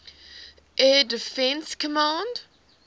air defense command